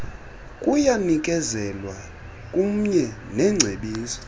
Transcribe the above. kuyanikezelwa kumye nengcebiso